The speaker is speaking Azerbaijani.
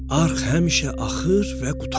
Arx həmişə axır və qurtarmır.